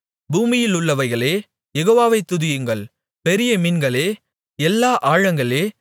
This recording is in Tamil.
பூமியிலுள்ளவைகளே யெகோவாவை துதியுங்கள் பெரிய மீன்களே எல்லா ஆழங்களே